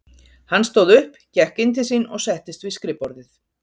Hann stóð upp, gekk inn til sín og settist við skrifborðið.